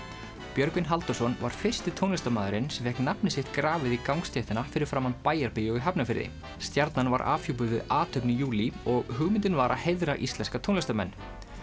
Björgvin Halldórsson var fyrsti tónlistarmaðurinn sem fékk nafnið sitt grafið í gangstéttina fyrir framan Bæjarbíó í Hafnarfirði stjarnan var afhjúpuð við athöfn í júlí og hugmyndin var að heiðra íslenska tónlistarmenn